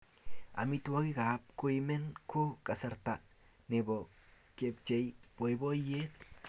Amitwogikap koimen ko kasarta nebo kepchei boiboiyet